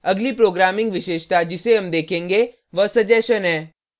अगली programming विशेषता जिसे हम देखेंगे वह suggestion सजेशन है